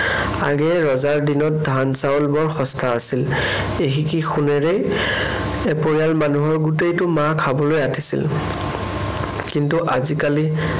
আগেয়ে ৰজাৰ দিনত ধান-চাউল বৰ সস্তা আছিল। এসিকি সোণেৰেই এপৰিয়াল মানুহৰ গোটেইটো মাহ খাবলৈ আটিছিল। কিন্তু আজিকালি